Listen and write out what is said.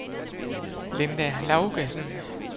Linda Laugesen